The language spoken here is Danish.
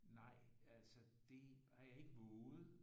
Nej altså det har jeg ikke vovet